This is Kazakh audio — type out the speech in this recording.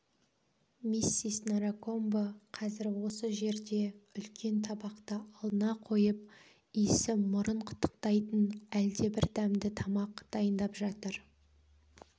миссис наракомбо қазір осы жерде үлкен табақты алдына қойып иісі мұрын қытықтайтын әлдебір дәмді тамақ дайындап жатыр